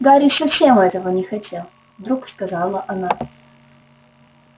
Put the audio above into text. гарри совсем этого не хотел вдруг сказала она